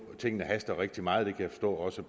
at tingene haster rigtig meget det kan jeg også